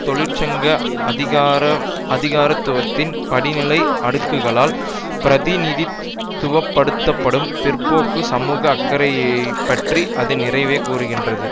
தொழிற் சங்க அதிகாரத்துவத்தின் படிநிலை அடுக்குகளால் பிரதிநிதித்துவப்படுத்தப்படும் பிற்போக்கு சமூக அக்கறையைப்பற்றி அது நிறையவே கூறுகின்றது